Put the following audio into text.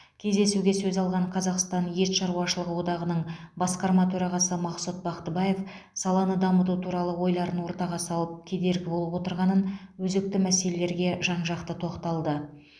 кездесуге сөз алған қазақстан ет шаруашылығы одағының басқарма төрағасы мақсұт бақтыбаев саланы дамыту туралы ойларын ортаға салып кедергі болып отырғанын өзекті мәселелерге жан жақты тоқталды